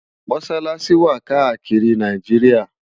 Mọṣalaṣi wá kàákiri Náijiriá